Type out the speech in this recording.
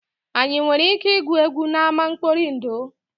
Anyị nwere ike igwu egwu n'ama nkpọri ndụ?